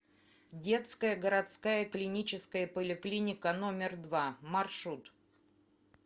детская городская клиническая поликлиника номер два маршрут